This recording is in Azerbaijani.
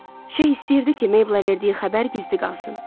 Şeyx istəyirdi ki, Meybla verdiyi xəbər gizli qalsın.